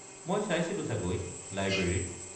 মই চাইছিলো চাগৈ; লাইব্ৰেৰীত।